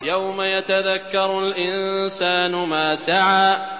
يَوْمَ يَتَذَكَّرُ الْإِنسَانُ مَا سَعَىٰ